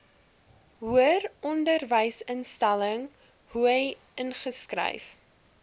hoëronderwysinstelling hoi ingeskryf